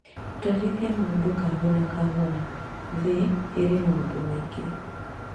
Twarithia maũndũ kahora kahora thĩ ĩrĩ maũndũ maingĩ